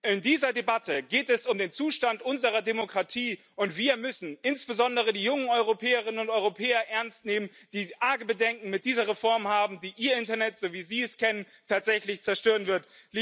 In dieser Debatte geht es um den Zustand unserer Demokratie, und wir müssen insbesondere die jungen Europäerinnen und Europäer ernst nehmen, die arge Bedenken mit dieser Reform haben, die ihr Internet, so wie sie es kennen, tatsächlich zerstören wird.